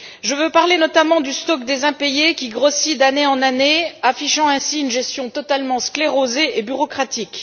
Je veux parler notamment du stock des impayés qui grossit d'année en année, affichant ainsi une gestion totalement sclérosée et bureaucratique.